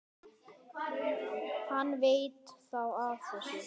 Hann veit þá af þessu?